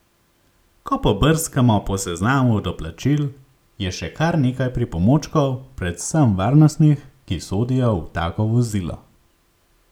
Ko pobrskamo po seznamu doplačil je še kar nekaj pripomočkov, predvsem varnostnih, ki sodijo v tako vozilo.